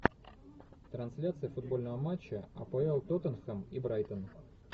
трансляция футбольного матча апл тоттенхэм и брайтон